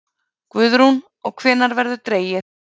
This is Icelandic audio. Guðrún: Og hvenær verður dregið?